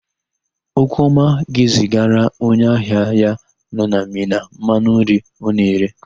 Okwuọma ga-ezigara onye ahịa ya nọ na Mina mmanụ nri ọ na-ere.